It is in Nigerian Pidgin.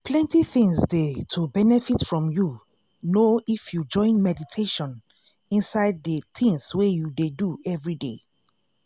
plenty things dey to benefit from you know if you join meditation inside de tins wey you dey do everyday.